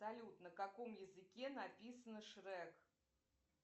салют на каком языке написан шрек